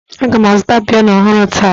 Aga m azụta piano ọhụrụ taa